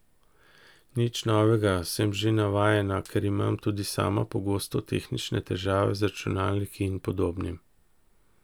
Nič novega, sem že navajena, ker imam tudi sama pogosto tehnične težave z računalniki in podobnim.